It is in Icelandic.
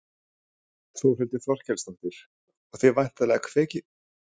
Þórhildur Þorkelsdóttir: Og þið væntanlega hvetjið fólk til koma, það er frumsýning á laugardaginn?